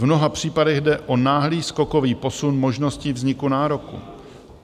V mnoha případech jde o náhlý skokový posun možností vzniku nároku.